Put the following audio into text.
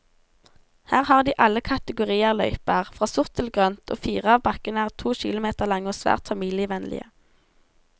Her har de alle kategorier løyper, fra sort til grønt, og fire av bakkene er to kilometer lange og svært familievennlige.